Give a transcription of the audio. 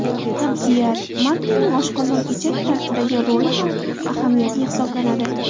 Qabziyat Magniyning oshqozon ichak traktidagi roli ham ahamiyatli hisoblanadi.